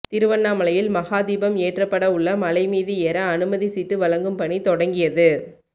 திருவண்ணாமலையில் மகாதீபம் ஏற்றப்பட உள்ள மலை மீது எற அனுமதி சீட்டு வழங்கும் பணி தொடங்கியது